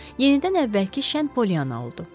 Yenidən əvvəlki şən Polyanna oldu.